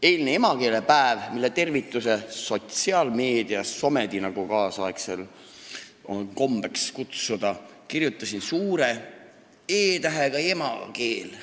Eile oli emakeelepäev, mille tervituses ma kirjutasin sotsiaalmeedias ehk SOME-s, nagu kaasaegsetel on kombeks öelda, emakeele suure E-tähega: Emakeel.